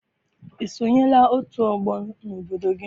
I sonyela otu ọgbọ n'obodo gị?